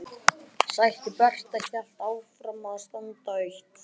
Sæti Berta hélt áfram að standa autt.